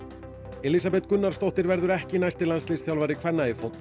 Elísabet Gunnarsdóttir verður ekki næsti landsliðsþjálfari kvenna